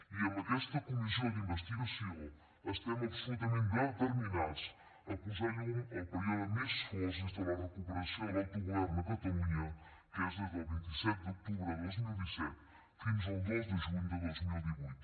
i amb aquesta comissió d’investigació estem absolutament determinats a posar llum al període més fosc des de la recuperació de l’autogovern a catalunya que és des del vint set d’octubre de dos mil disset fins al dos de juny de dos mil divuit